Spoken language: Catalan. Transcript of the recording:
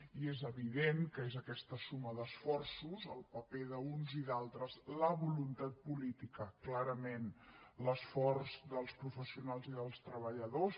i és evident que és aquesta suma d’esforços el paper d’uns i d’altres la voluntat política clarament l’esforç dels professionals i dels treballadors